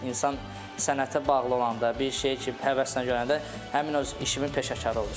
İnsan sənətə bağlı olanda, bir şeyi ki həvəslə görəndə həmin öz işimin peşəkarı olursan.